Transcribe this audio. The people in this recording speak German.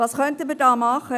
Was können wir da tun?